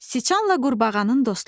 Siçanla qurbağanın dostluğu.